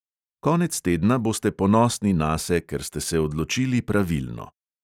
Konec tedna boste ponosni nase, ker ste se odločili pravilno.